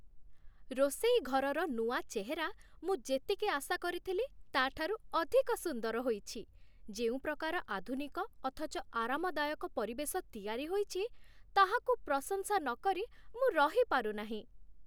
ରୋଷେଇ ଘରର ନୂଆ ଚେହେରା ମୁଁ ଯେତିକି ଆଶା କରିଥିଲି ତା'ଠାରୁ ଅଧିକ ସୁନ୍ଦର ହୋଇଛି, ଯେଉଁ ପ୍ରକାର ଆଧୁନିକ ଅଥଚ ଆରାମଦାୟକ ପରିବେଶ ତିଆରି ହୋଇଛି, ତାହାକୁ ପ୍ରଶଂସା ନକରି ମୁଁ ରହିପାରୁନାହିଁ।